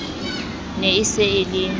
ne e se e le